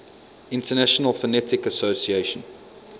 international phonetic association